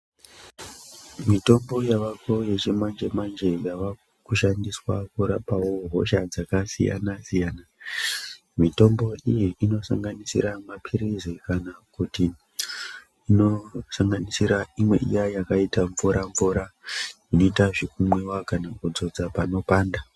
Mitombo yavako yechimanje manje yava kushandiswa kurapawo hosha dzakasiyana siyana. Mitombo iyi inosanganisira maphilizi kana kuti inosanganisira imwe iya yakaita mvura mvura inoita zvekumwiwa kana kudzodza panopanda.